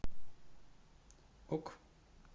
ок